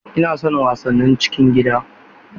Ina son wasannin cikin gida